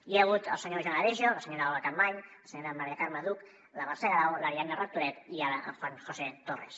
hi ha hagut el senyor joan aregio la senyora olga campmany la senyora maria carme duch la mercè garau l’ariadna rectoret i el juan josé torres